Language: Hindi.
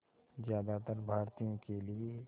ज़्यादातर भारतीयों के लिए